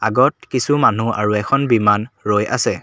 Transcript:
গত কিছু মানুহ আৰু এখন বিমান ৰৈ আছে।